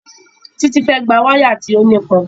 Títí fẹ́ gba wáyà tí ó nípọn